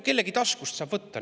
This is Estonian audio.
Kellegi taskust saab ju võtta.